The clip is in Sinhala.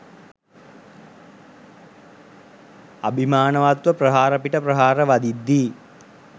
අභිමානවත්ව ප්‍රහාර පිට ප්‍රහාර වදිද්දී